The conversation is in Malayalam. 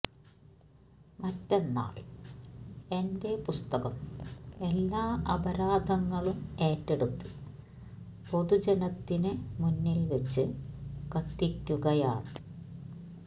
മറ്റെ ന്നാൽ എന്റെ പുസ്തകം എല്ലാ അപരാധങ്ങളും ഏറ്റെടുത്ത് പൊതുജനത്തിന് മുന്നിൽ വച്ച് കത്തിക്കൂകയാണ്